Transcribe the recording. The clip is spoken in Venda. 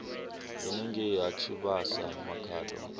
henengei ha tshivhasa makhado a